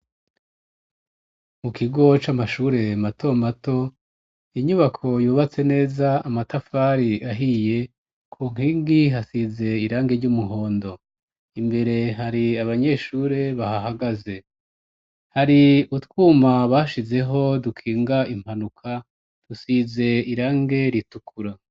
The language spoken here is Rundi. Mu kigo c'amashure mato mato, inyubako yubatse neza, amatafari ahiye, ku nkingi hasize irangi ry'umuhondo, imbere hari abanyeshure bahahagaze, hari utwuma bashizeho dukinga impanuka, dusize irangi ritukura.